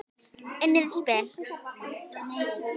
Unnið spil.